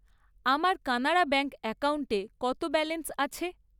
আমার কানাড়া ব্যাঙ্ক অ্যাকাউন্টে কত ব্যালেন্স আছে?